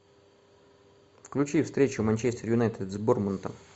включи встречу манчестер юнайтед с борнмутом